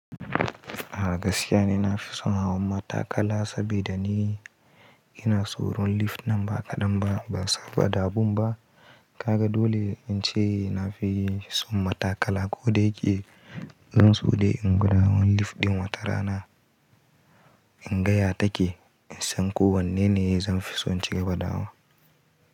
A gaskiya ni na fi son hawan matakala saboda ni ina tsoron lift nam ba ƙadam ba, ban saba da abum ba. Kaga dole in ce na fi son matakala ko dayike zan so dai in gwada hawan lift ɗin watarana, in ga ya take, in san ko wanne ne zan fi son in cigaba da hawa.